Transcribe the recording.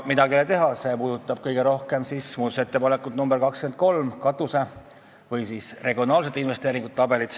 Midagi ei ole teha, poleemika puudutab kõige rohkem muudatusettepanekut nr 23, katuserahade ehk siis regionaalsete investeeringute tabelit.